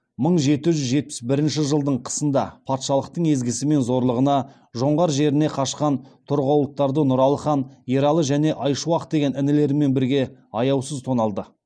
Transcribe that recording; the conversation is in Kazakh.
мың жеті жүз жетпіс бірінші жылы қысында патшалықтың езгісі мен зорлығынан жоңғар жеріне кашқан торғауыттарды нұралы хан ералы және айшуақ деген інілерімен бірге аяусыз тоналды